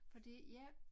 Fordi ja